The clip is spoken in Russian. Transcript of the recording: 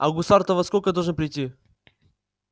а гусар-то во сколько должен прийти